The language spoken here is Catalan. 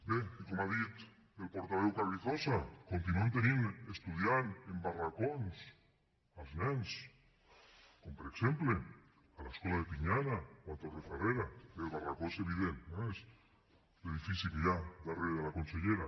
bé i com ha dit el portaveu carrizosa continuem tenint estudiant en barracons els nens com per exemple a l’escola de pinyana o a torrefarrera que el barracó és evident eh és l’edifici que hi ha darrere de la consellera